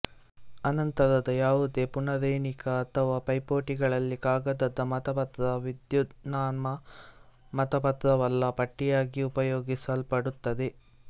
ಆನಂತರದ ಯಾವುದೇ ಪುನರೆಣಿಕೆ ಅಥವಾ ಪೈಪೋಟಿಗಳಲ್ಲಿ ಕಾಗದದ ಮತಪತ್ರ ವಿದ್ಯುನ್ಮಾನ ಮತಪತ್ರವಲ್ಲ ಪಟ್ಟಿಗಾಗಿ ಉಪಯೋಗಿಸಲ್ಪಡುತ್ತದೆ